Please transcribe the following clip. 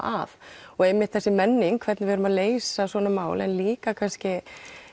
að og einmitt þessi menning hvernig við erum að leysa svona mál en líka kannski